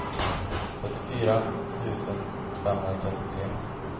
trettiofyra tusen femhundratrettiotre